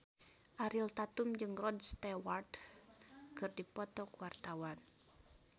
Ariel Tatum jeung Rod Stewart keur dipoto ku wartawan